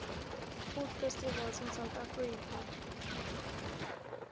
food festivals in south africa